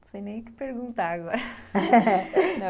Não sei nem o que perguntar agora.